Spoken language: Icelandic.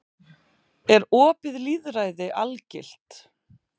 Er opið lýðræði algilt?